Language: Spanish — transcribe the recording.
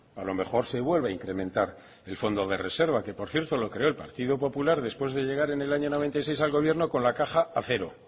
a lo mejor se vuelve a incrementar el fondo de reserva que por cierto lo creó el partido popular después de llegar en el año noventa y seis al gobierno con la caja a cero